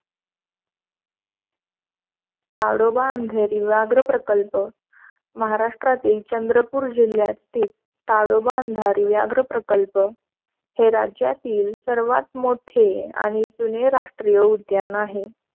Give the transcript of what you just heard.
ताडोबा अंधारी व्याघ्र प्रकल्प महाराष्ट्रातील चंद्रपूर जिल्ह्यातील ताडोबा अंधारी व्याघ्र प्रकल्प हे राज्यातील सर्वात मोठे आणि जुने राष्ट्रीय उद्यान आहे.